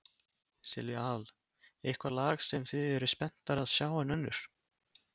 Silvía Hall: Eitthvað lag sem þið eruð spenntari að sjá en önnur?